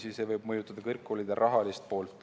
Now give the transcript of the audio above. See võib mõjutada kõrgkoolide rahalist poolt.